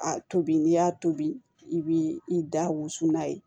A tobi n'i y'a tobi i b'i da wusu n'a ye